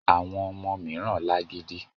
Àwọn ọmọ mìíràn lágídí.